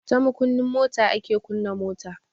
Ta makunnin mota ake kunna mota.